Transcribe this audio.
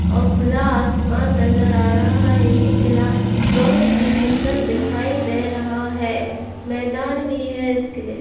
और खुला आसमान नज़र आ रहा है। ये किला बहुत ही सुन्दर दिखाई दे रहा है। मैदान भी है इस किले --